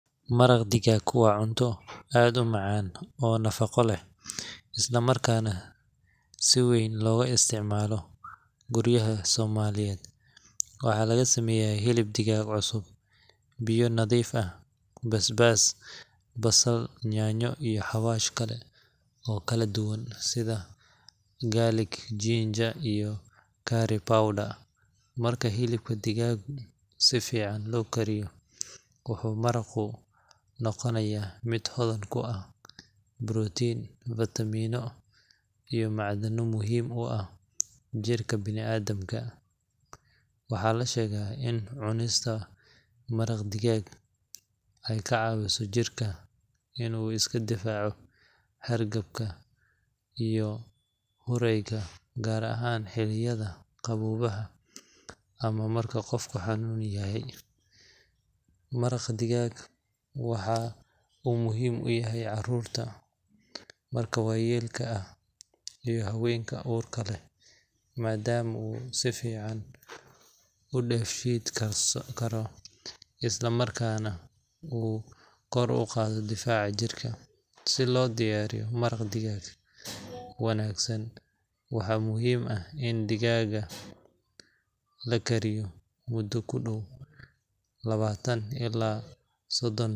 Maraq digaag waa cunto aad u macaan oo nafaqo leh, isla markaana si weyn looga isticmaalo guryaha Soomaaliyeed. Waxaa laga sameeyaa hilib digaag cusub, biyo nadiif ah, basbaas, basal, yaanyo, iyo xawaash kale oo kala duwan sida garlic, ginger, iyo curry powder. Marka hilibka digaagu si fiican loo kariyo, wuxuu maraqu noqonayaa mid hodan ku ah borotiin, fiitamiino, iyo macdano muhiim u ah jirka bini’aadamka. Waxaa la sheegaa in cunista maraq digaag ay ka caawiso jirka in uu iska difaaco hargabka iyo durayga, gaar ahaan xilliyada qaboobaha ama marka qofku xanuunsan yahay. Maraq digaag waxa uu muhiim u yahay carruurta, dadka waayeelka ah, iyo haweenka uurka leh, maadaama uu si fudud u dheefshiin karo, isla markaana uu kor u qaado difaaca jirka. Si loo diyaariyo maraq digaag wanaagsan, waxaa muhiim ah in digaagga la kariyo muddo ku dhow labaatan ilaa sodon daqiiqo.